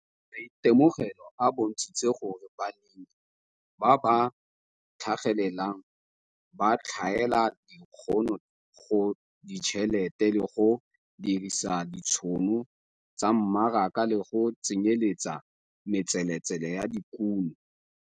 Maitemogelo a bontshitse gore balemi ba ba tlhagelelang ba tlhaela dikgono go ditšhelete le go dirisa ditšhono tsa mmaraka le go tsenyeletsa metseletsele ya dikuno.